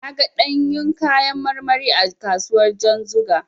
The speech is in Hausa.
Na ga ɗanyun kayan marmari a kasuwar Janzuga.